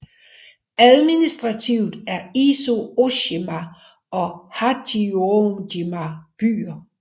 Administrativt er Izu Ooshima og Hachijojima byer